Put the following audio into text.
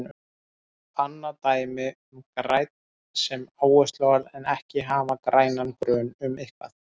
Annað dæmi um grænn sem áhersluorð er að hafa ekki grænan grun um eitthvað.